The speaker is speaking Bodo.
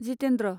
जितेन्द्र